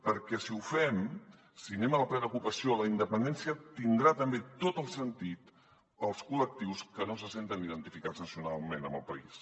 perquè si ho fem si anem a la plena ocupació la in·dependència tindrà també tot el sentit per als col·lectius que no se senten identificats nacionalment amb el país